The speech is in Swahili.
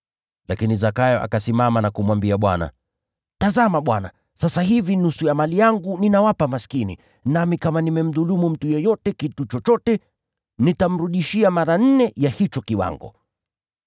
Lakini Zakayo akasimama na kumwambia Bwana, “Tazama, Bwana! Sasa hivi nusu ya mali yangu ninawapa maskini, nami kama nimemdhulumu mtu yeyote kitu chochote, nitamrudishia mara nne ya hicho kiwango.”